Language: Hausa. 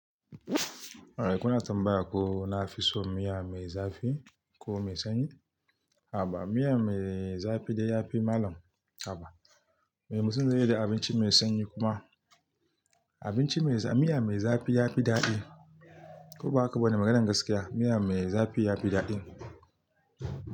Eh kuna tambaya ko nafi so miya mai zafi ko mai sanyi? A'a ba miya mai zafi da ya fi malam. A'a, mai mutun zai yi da abinci mai sanyi kuma Abinci mai, miya mai zafi ya fi daɗi. Ko ba haka ba ne maganan gaskiya, miya mai zafi ya fi daɗi.